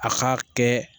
A ka kɛ